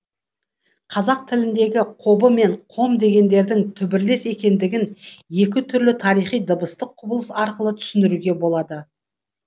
қазақ тіліндегі қобы мен қом дегендердің түбірлес екендігін екі түрлі тарихи дыбыстық құбылыс арқылы түсіндіруге болады